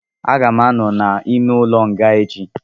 Aga m anọ n'ime ụlọ nga echi